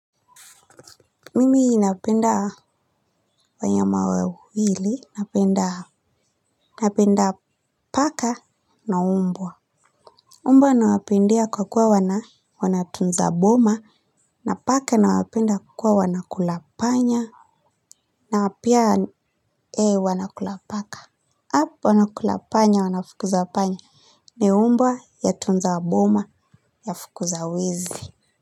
Mimi napenda wanyama wawili, napenda paka na mbwa mbwa nawapendea kwa kuwa wanatunza boma, na paka nawapenda kwa kuwa wanakula panya, na pia wanakula paka. Hapo wanakula panya, wanafukuza panya, ni mbwa yatunza boma yafukuza wizi.